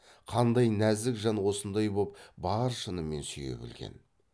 қандай нәзік жан осындай боп бар шынымен сүйе білген